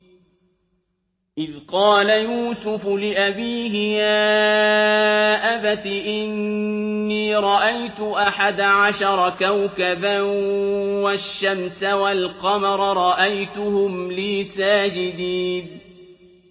إِذْ قَالَ يُوسُفُ لِأَبِيهِ يَا أَبَتِ إِنِّي رَأَيْتُ أَحَدَ عَشَرَ كَوْكَبًا وَالشَّمْسَ وَالْقَمَرَ رَأَيْتُهُمْ لِي سَاجِدِينَ